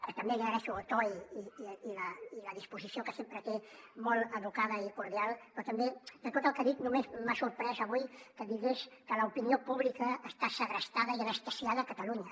que també li agraeixo el to i la disposició que sempre té molt educada i cordial però també de tot el que ha dit només m’ha sorprès avui que digués que l’opinió pública està segrestada i anestesiada a catalunya